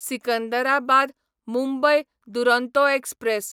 Secunderabad Mumbai Duronto express